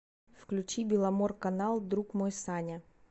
включи беломорканал друг мой саня